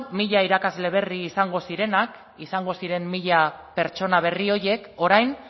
mila irakasle berri izango zirenak izango ziren mila pertsona berri horiek orain